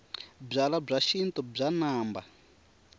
byalwabya xintu bya namba